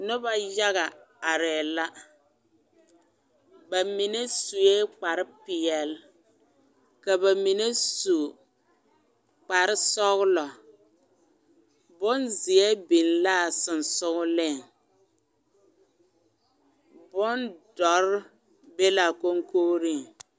Noba yaga arɛɛ la ba mine sue kparre peɛle ka ba mine su kparre sɔgelɔ bonzeɛ biŋ laa sonsoŋeleŋ bondoɔre ne laa koŋkogiriŋ